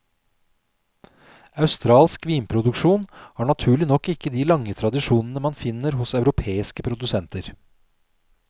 Australsk vinproduksjon har naturlig nok ikke de lange tradisjonene man finner hos europeiske produsenter.